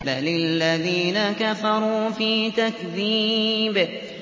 بَلِ الَّذِينَ كَفَرُوا فِي تَكْذِيبٍ